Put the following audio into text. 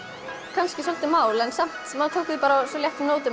kannski svolítið mál en við tókum því á léttum nótum